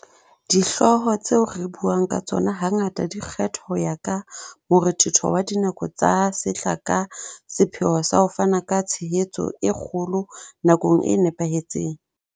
Dihlooho tseo re buang ka tsona hangata di kgethwa ho ya ka morethetho wa dinako tsa sehla ka sepheo sa ho fana ka tshehetso e kgolo nakong e nepahetseng.